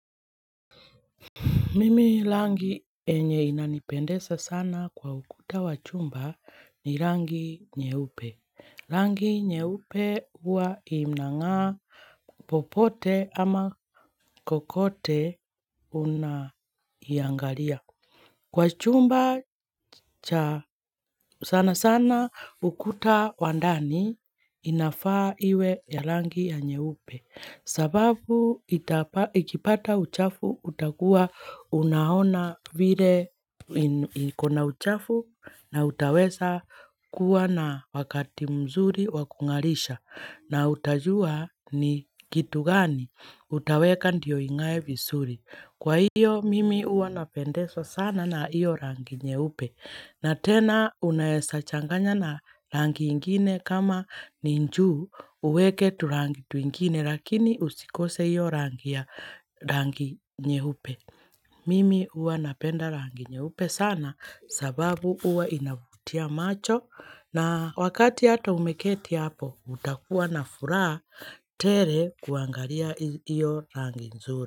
Mimi rangi yenye inanipendeza sana kwa ukuta wa chumba ni rangi nyeupe. Rangi nyeupe huwa inang'aa popote, ama kokote unaiangalia. Kwa chumba sana sana ukuta wa ndani, inafaa iwe ya rangi ya nyeupe. Sababu ikipata uchafu, utakuwa unaona vile likona uchafu, na utaweza kuwa na wakati mzuri wa kung'arisha, na utajua ni kitu gani utaweka ndio ing'are vizuri. Kwa hiyo, mimi huwa napendezwa sana na hiyo rangi nyeupe. Na tena, unaweza changanya na rangi ingine kama ni juu, uweke turangi twingine, lakini usikose hiyo rangi nyeupe. Mimi huwa napenda rangi nyeupe sana, sababu huwa inavutia macho, na wakati hata ume keti hapo, utakuwa na furaha tele kuangalia hiyo rangi nzuri.